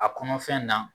A kɔnɔfɛn na